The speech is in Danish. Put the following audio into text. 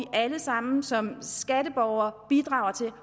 alle sammen som skatteborgere bidrager til